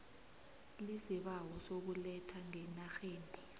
iisibawo sokuletha ngenarheni